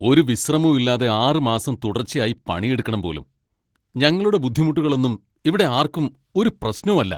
ഒരു വിശ്രമവും ഇല്ലാതെ ആറ് മാസം തുടർച്ചയായി പണിയെടുക്കണം പോലും, ഞങ്ങളുടെ ബുദ്ധിമുട്ടുകളൊന്നും ഇവിടെ ആർക്കും ഒരു പ്രശ്നവും അല്ല.